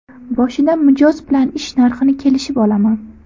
Boshida mijoz bilan ish narxini kelishib olaman.